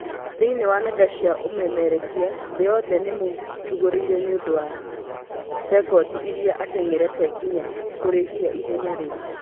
Thĩinĩ wa nenda cia ũmemerekia thĩ yothe nĩmũtũgĩirie nĩũndũ wa cekondi ĩrĩa ateng'erete nginya kũrĩkia ihenya rĩu